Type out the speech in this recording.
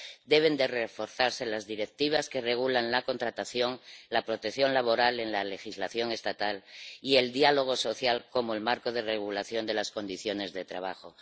Deben reforzarse las Directivas que regulan la contratación, la protección laboral en la legislación estatal y el diálogo social como marco de regulación de las condiciones de trabajo.